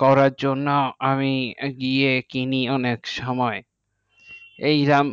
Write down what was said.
করের জন্য আমি গিয়ে কিনি অনেক সুময় এই রাম।